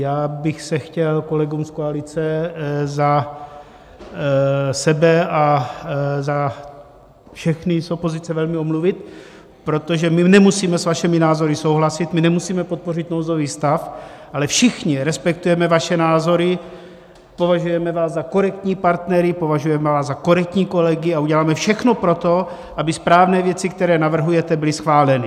Já bych se chtěl kolegům z koalice za sebe a za všechny z opozice velmi omluvit, protože my nemusíme s vašimi názory souhlasit, my nemusíme podpořit nouzový stav, ale všichni respektujeme vaše názory, považujeme vás za korektní partnery, považujeme vás za korektní kolegy a uděláme všechno pro to, aby správné věci, které navrhujete, byly schváleny.